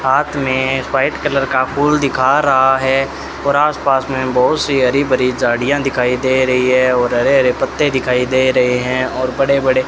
हाथ में white colour का फूल दिखा रहा है और आस पास में बहुत सी हरी भरी झाड़ियां दिखाई दे रही है और हरे हरे पत्ते दिखाई दे रहे हैं और बड़े बड़े --